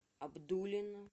абдулино